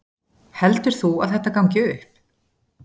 Heldur þú að þetta gangi upp?